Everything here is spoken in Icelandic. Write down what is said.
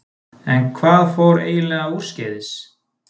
En hvað fór eiginlega úrskeiðis?